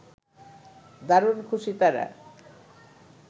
দারুণ খুশি তারা